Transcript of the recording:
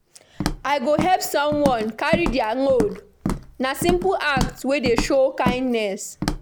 I go help someone carry dia load; na simple act wey dey show kindness.